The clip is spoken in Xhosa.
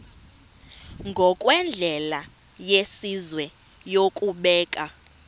ngokwendlela yesizwe yokubeka